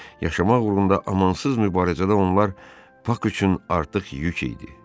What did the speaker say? Yaşamaq uğrunda amansız mübarizədə onlar Pak üçün artıq yük idi.